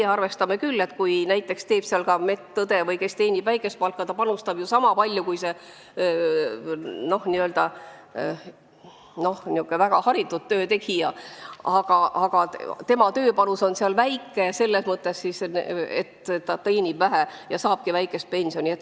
Meie arvame, et näiteks medõde, kes teenib väikest palka, panustab sama palju kui väga hästi teeniv töötegija, ometi saabki medõde väga väikest pensioni.